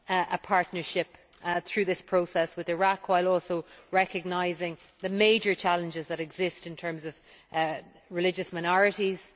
a partnership through this process with Iraq, while also recognising the major challenges that exist in terms of religious minorities.